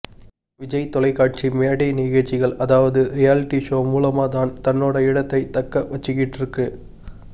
விஜய் தொலைக்காட்சி மேடை நிகழ்ச்சிகள் அதாவது ரியாலிட்டி ஷோ மூலமா தான் தன்னோட இடத்தை தக்க வச்சிக்கிட்டிருக்கு